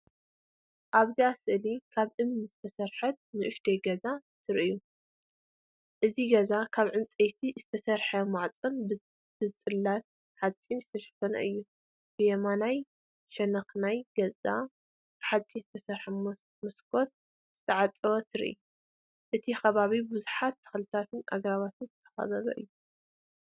ኣብዛ ስእሊ ካብ እምኒ ዝተሰርሐት ንእሽቶ ገዛ ትርእዩ። እቲ ገዛ ካብ ዕንጨይቲ ዝተሰርሐ ማዕጾን ብጽላት ሓጺን ዝተሸፈነ እዩ። ብየማናይ ሸነኽ ናይቲ ገዛ ብሓጺን ዝተሰርሐ መስኮት ዝተዓጽወ ትርኢ። እቲ ከባቢ ብብዙሓት ተኽልታትን ኣግራብን ዝተኸበበ እዩ።